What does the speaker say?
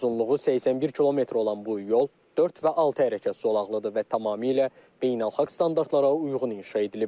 Uzunluğu 81 km olan bu yol dörd və altı hərəkət zolaqlıdır və tamamilə beynəlxalq standartlara uyğun inşa edilib.